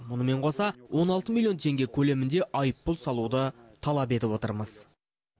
мұнымен қоса он алты миллион теңге көлемінде айыппұл салуды талап етіп отырмыз